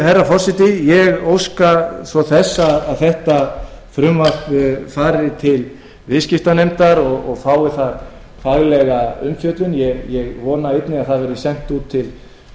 herra forseti ég óska eftir að frumvarpinu verði vísað til viðskiptanefndar og fái þar faglega umfjöllun ég vona einnig að það verði sent út til